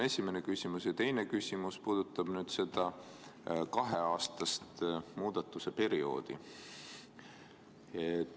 Ja teine küsimus puudutab seda kaheaastast muudatuse perioodi.